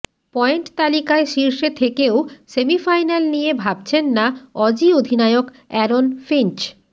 point তালিকায় শীর্ষে থেকেও সেমিফাইনাল নিয়ে ভাবছেন না অজি অধিনায়ক অ্যারন ফিঞ্চ